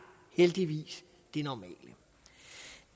heldigvis det normale